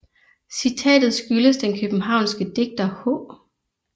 Citatet skyldes den københavnske digter H